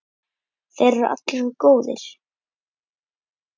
Þeir eru allir svo góðir.